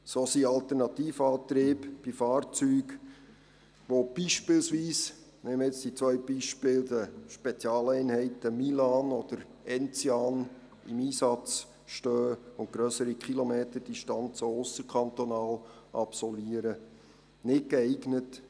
So sind Alternativantriebe für Fahrzeuge, die zum Beispiel für die Spezialeinheiten Milan oder Enzian im Einsatz stehen und auch ausserkantonal grössere Distanzen absolvieren, nicht geeignet.